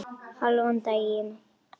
Hálfan daginn.